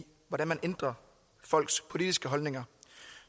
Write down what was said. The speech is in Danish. hvordan man ændrer folks politiske holdninger